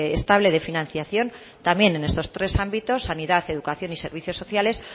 estable de financiación también en estos tres ámbitos sanidad educación y servicios sociales